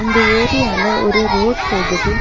இந்த ஏரியால ஒரு ரோட் போகுது.